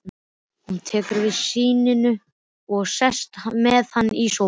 Hún tekur við syninum og sest með hann í sófann.